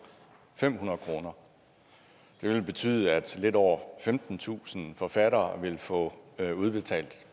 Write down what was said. fem hundrede kroner det ville betyde at lidt over femtentusind forfattere ville få udbetalt